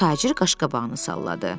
Tacir qaşqabağını salladı.